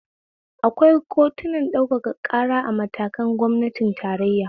Akwai kotunan ɗaukaka ƙara a matakin gwamnatin tarayya